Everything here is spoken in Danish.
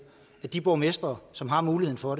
at de borgmestre som har muligheden for